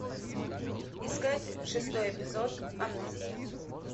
искать шестой эпизод амнезия